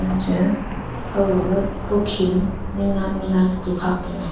che kaw gaga kawkhen ning na ning na khu khak taiga.